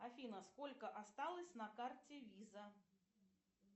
афина сколько осталось на карте виза